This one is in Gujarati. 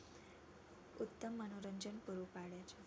ઉત્તમ મનોરંજન પૂરું પડે છે.